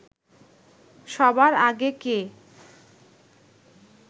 সবার আগে কে